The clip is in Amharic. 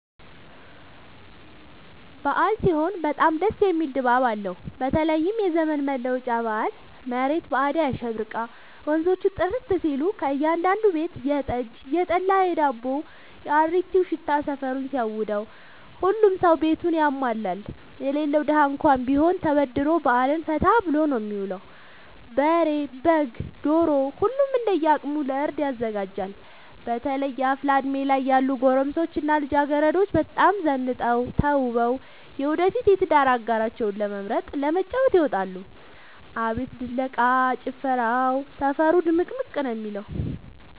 አበዓል ሲሆን በጣም ደስ የሚል ድባብ አለው በተለይም የዘመን መለወጫ በአል መሬት በአዳይ አሸብርቃ ወንዞቹ ጥርት ሲሉ ከእያዳዱ ቤት የጠጅ፣ የጠላ የዳቦው።፣ የአሪቲው ሽታ ሰፈሩን ሲያውደው። ሁሉም ሰው ቤቱን ያሟላል የሌለው ደሀ እንኳን ቢሆን ተበድሮ በአልን ፈታ ብሎ ነው የሚውለው። በሬ፣ በግ፣ ዶሮ ሁሉም እንደየ አቅሙ ለእርድ ያዘጋጃል። በተለይ አፍላ እድሜ ላይ ያሉ ጎረምሶች እና ልጃገረዶች በጣም ዘንጠው ተውበው የወደፊት የትዳር አጋራቸውን ለመምረጥ ለመተጫጨት ይወጣሉ። አቤት ድለቃ፣ ጭፈራው ሰፈሩ ድምቅምቅ ነው የሚለው።